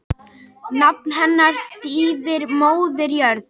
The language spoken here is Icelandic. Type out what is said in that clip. Nafn hennar þýðir móðir jörð.